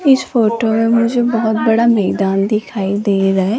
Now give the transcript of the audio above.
इस फोटो में मुझे बहुत बड़ा मैदान दिखाई दे रहा है।